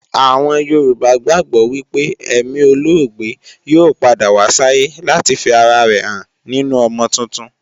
Àwọn Yorùbá gbàgbó wípé èmi olóògbé yóò padà wá sáyé láti fi ara rẹ̀ hàn nínu ọmọ tuntun